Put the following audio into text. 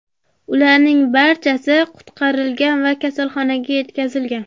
Ularning barchasi qutqarilgan va kasalxonaga yetkazilgan.